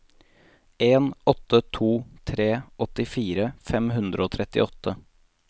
en åtte to tre åttifire fem hundre og trettiåtte